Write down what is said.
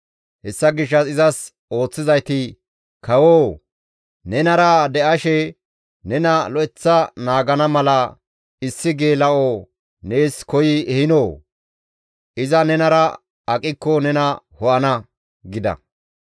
Hessa gishshas izas ooththizayti, «Kawoo! Nenara de7ashe nena lo7eththa naagana mala issi geela7o nees koyi ehinoo? Iza nenara aqikko nena ho7ana» gida.